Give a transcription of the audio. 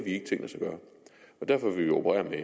ikke tænkt os at gøre derfor vil vi operere med